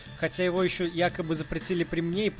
хотя его ещё якобы запретили при мне